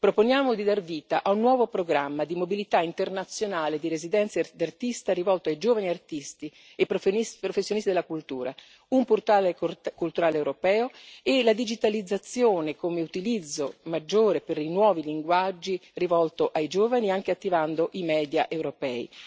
Proponiamo di dar vita a un nuovo programma di mobilità internazionale di residenze d'artista, rivolto a giovani artisti e professionisti della cultura, un portale culturale europeo e la digitalizzazione come utilizzo maggiore per i nuovi linguaggi, rivolto ai giovani, anche attivando i media europei.